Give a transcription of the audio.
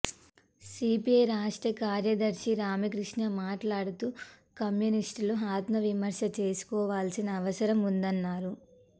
CPI రాష్ట్ర కార్యదర్శి రామకృష్ణ మాట్లాడుతూ కమ్యూనిస్టులు ఆత్మవిమర్శ చేసుకోవాల్సిన అవసరం ఉందన్నారు